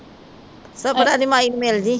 ਸਪਨਾ ਦੀ ਮਾਈ ਨੂੰ ਮਿਲ ਜੀ